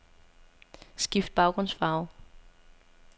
Skift baggrundsfarve.